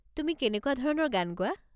তুমি কেনেকুৱা ধৰণৰ গান গোৱা?